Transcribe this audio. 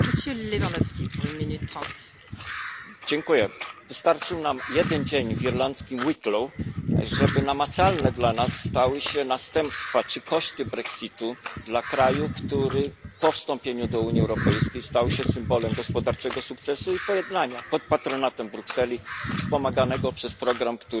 Wystarczył nam jeden dzień w irlandzkim Wicklow, żeby namacalne dla nas stały się następstwa czy koszty Brexitu dla kraju, który po wstąpieniu do Unii Europejskiej stał się symbolem gospodarczego sukcesu i pojednania pod patronatem Brukseli, wspomaganego przez program, który słusznie nosi nazwę PEACE. Irlandia to jest dobry